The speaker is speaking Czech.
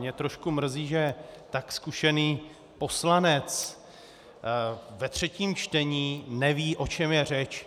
Mě trošku mrzí, že tak zkušený poslanec ve třetím čtení neví, o čem je řeč.